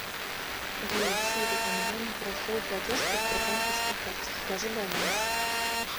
джой сири у меня не прошел платеж по сбербанковской карте покажи баланс